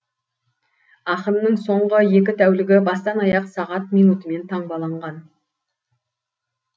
ақынның соңғы екі тәулігі бастан аяқ сағат минутымен таңбаланған